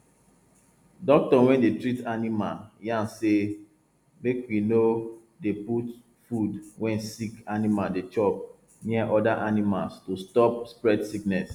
doctor wey dey treat animal yan say make we no dey put food wey sick animal dey chop near other animals to stop spread sickness